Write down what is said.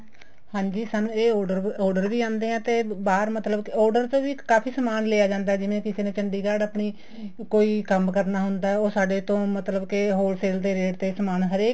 ਹਾਂਜੀ ਸਾਨੂੰ ਇਹ order ਵੀ ਆਉਦੇ ਹੈ ਇਹ ਬਹਾਰ ਮਤਲਬ ਕੇ order ਤੋ ਵੀ ਕਾਫ਼ੀ ਸਮਾਨ ਲਿਆ ਜਾਂਦਾ ਜਿਵੇਂ ਕਿਸੇ ਨੇ ਚੰਡੀਗੜ੍ਹ ਆਪਣੀ ਕੋਈ ਕੰਮ ਕਰਨਾ ਹੁੰਦਾ ਉਹ ਸਾਡੇ ਤੋਂ ਮਤਲਬ ਕੇ wholesale ਦੇ ਰੇਟ ਤੇ ਸਮਾਨ ਹਰੇਕ